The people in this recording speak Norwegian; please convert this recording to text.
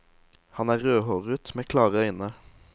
Han er rødhåret, med klare øyne.